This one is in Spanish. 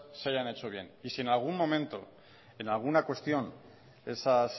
se hayan hecho bien y si en algún momento en alguna cuestión esas